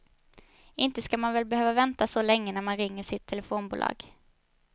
Inte ska man väl behöva vänta så länge när man ringer sitt telefonbolag.